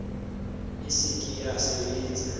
e se ke ya sebetsa